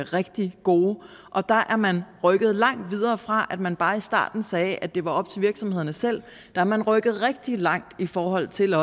rigtig gode og der er man rykket langt videre fra at man bare i starten sagde at det var op til virksomhederne selv der er man rykket rigtig langt i forhold til at